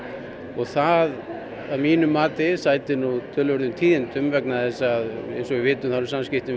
og það að mínu mati sætir nú töluverðum tíðindum vegna þess að eins og við vitum þá eru samskiptin